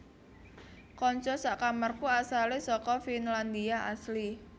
Konco sak kamarku asale seko Finlandia asli